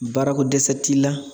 Baara ko dɛsɛ t'i la